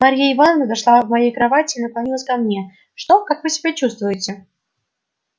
марья ивановна подошла к моей кровати и наклонилась ко мне что как вы себя чувствуете